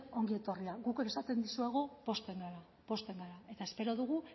ongi etorria guk esaten dizuegu pozten gara pozten gara eta espero dugu